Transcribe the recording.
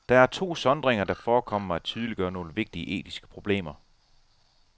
Der er to sondringer, der forekommer mig at tydeliggøre nogle vigtige etiske problemer.